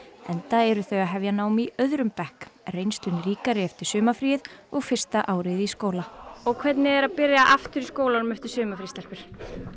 enda eru þau að hefja nám í öðrum bekk reynslunni ríkari eftir sumarfríið og fyrsta árið í skóla hvernig er að byrja aftur í skólanum eftir sumarfrí stelpur